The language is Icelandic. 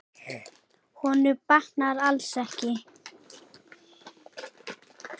Honum batnar alls ekki.